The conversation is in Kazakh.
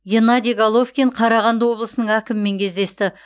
геннадий головкин қарағанды облысының әкімімен кездесті